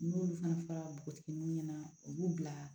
N'olu fana fɔra npogotigininw ɲɛna u b'u bila